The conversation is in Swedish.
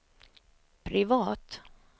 privat